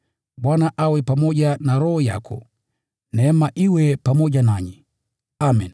Bwana awe pamoja na roho yako. Neema iwe pamoja nanyi. Amen.